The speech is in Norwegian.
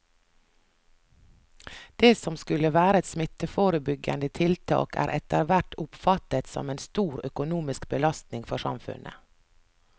Det som skulle være et smitteforebyggende tiltak er etterhvert oppfattet som en stor økonomisk belastning for samfunnet.